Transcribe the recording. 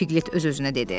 Piqlet öz-özünə dedi.